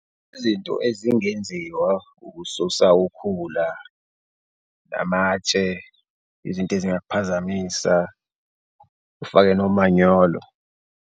Izinto ezingenziwa ukususa ukhula namatshe, izinto ezingakuphazamisa ufake nomanyolo.